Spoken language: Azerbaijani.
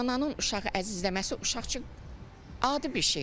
Ananın uşağı əzizləməsi uşaq üçün adi bir şeydir.